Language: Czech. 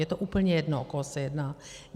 Je to úplně jedno, o koho se jedná.